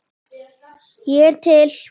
Ég er til